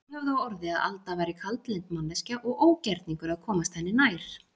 Margir höfðu á orði að Alda væri kaldlynd manneskja og ógerningur að komast henni nær.